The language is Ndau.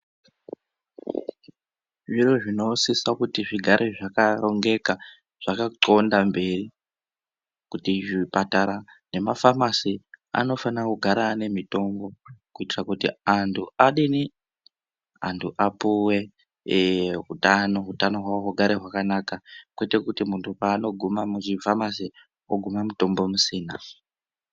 Zviro zvinosisa kuti zvigare zvaka rongeka zvaka ndxonda mberi kuti zvipatara nema famasi anofana kugara ane mitombo kuitira kuti antu adini antu apuwe ee hutano hutano hwawo hugare hwakanaka kwete kuti muntu paano guma muchi famasi ogume mutombo musina.